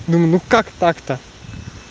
ну ну как так-то